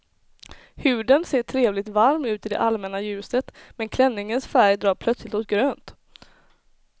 Huden ser trevligt varm ut i det allmänna ljuset, men klänningens färg drar plötsligt åt grönt.